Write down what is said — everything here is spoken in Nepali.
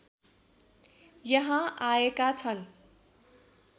यहाँ आएका छन्